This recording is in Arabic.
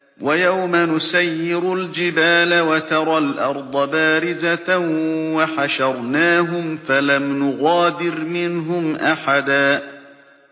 وَيَوْمَ نُسَيِّرُ الْجِبَالَ وَتَرَى الْأَرْضَ بَارِزَةً وَحَشَرْنَاهُمْ فَلَمْ نُغَادِرْ مِنْهُمْ أَحَدًا